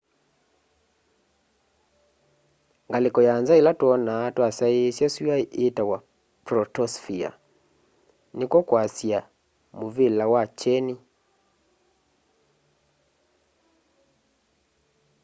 ngalĩko ya nza ĩla twonaa twasyaĩsya syũa ĩĩtawa protosphere nĩkw'o kwasya mũvĩla wa kyeni